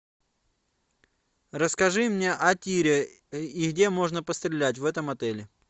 расскажи мне о тире и где можно пострелять в этом отеле